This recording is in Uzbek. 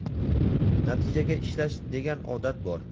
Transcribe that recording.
natijaga ishlash degan odat bor.